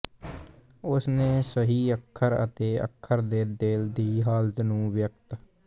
ਉਸ ਨੇ ਸਹੀ ਅੱਖਰ ਅਤੇ ਅੱਖਰ ਦੇ ਦਿਲ ਦੀ ਹਾਲਤ ਨੂੰ ਵਿਅਕਤ